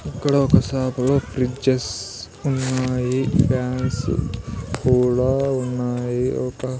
ఇక్కడ ఒక సాపలో ఫ్రిడ్జెస్ ఉన్నాయి ఫ్యాన్స్ కూడా ఉన్నాయి ఒక.